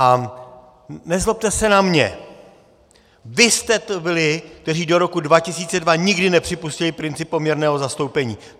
A nezlobte se na mě, vy jste to byli, kteří do roku 2002 nikdy nepřipustili princip poměrného zastoupení!